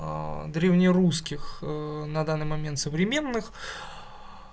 древнерусских на данный момент современных